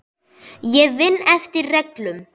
Ég vinn eftir reglum.